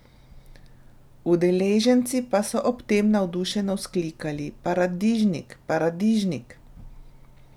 Udeleženci pa so ob tem navdušeno vzklikali: "Paradižnik, paradižnik".